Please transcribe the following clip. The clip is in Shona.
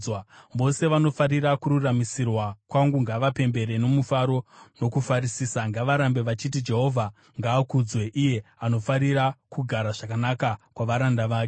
Vose vanofarira kururamisirwa kwangu ngavapembere nomufaro nokufarisisa; ngavarambe vachiti, “Jehovha ngaakudzwe, iye anofarira kugara zvakanaka kwavaranda vake.”